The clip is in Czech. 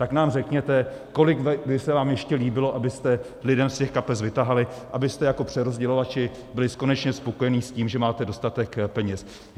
Tak nám řekněte, kolik by se vám ještě líbilo, abyste lidem z těch kapes vytahali, abyste jako přerozdělovači byli konečně spokojeni s tím, že máte dostatek peněz.